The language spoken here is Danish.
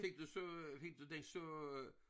Fik du så fik du den så